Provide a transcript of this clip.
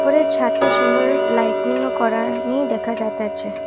উপরের ছাতে সুন্দর লাইটিংও করানি দেখা যাইতেছে ।